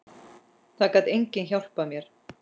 Það gat enginn hjálpað mér.